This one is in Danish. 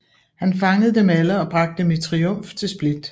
Han fangede dem alle og bragte dem i triumf til Split